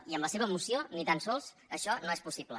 i amb la seva moció ni tan sols això no és possible